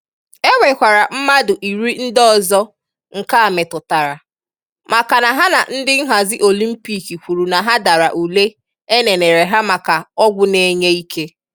E nwekwará mmadụ iri ndị ọzọ nke a metụtara, makana ha na ndị nhazi Olympiik kwuru na ha dara ụle éneneré hà maka ọgwụ na-enye ike.